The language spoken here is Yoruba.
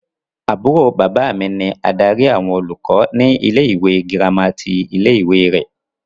Àbúrò bàbá mi ni adarí àwọn olùkọ́ ní ilé-ìwé gírámà ti ilé-ìwé rẹ.